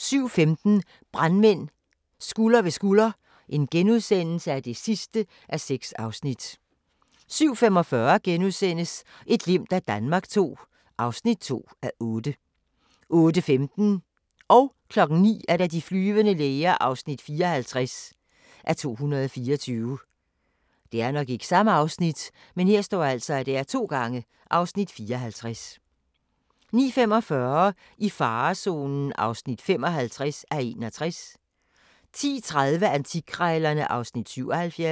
07:15: Brandmænd – Skulder ved skulder (6:6)* 07:45: Et glimt af Danmark II (2:8)* 08:15: De flyvende læger (54:224) 09:00: De flyvende læger (54:224) 09:45: I farezonen (55:61) 10:30: Antikkrejlerne (Afs. 77)